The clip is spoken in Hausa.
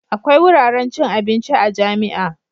Akwai wuraren cin abinci a jami'a.